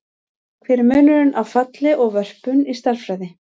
Hver er munurinn á falli og vörpun í stærðfræði?